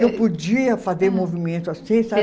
Eu podia fazer movimento assim, sabe?